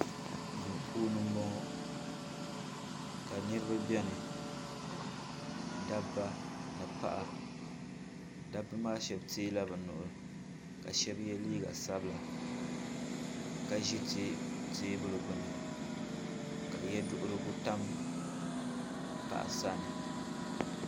du puuni n bɔŋɔ ka niriba bɛni da ba ni paɣ' da ba maa shɛbi yɛla bi nuuhi ka shɛbi yɛ liga sabila ka ʒɛ tɛbuli gbani ka yɛ duhigu tam paɣ' sani